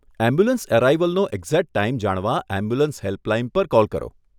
Ambulance અરાઇવલનો exact time જાણવા ambulance helpline પર કૉલ કરો.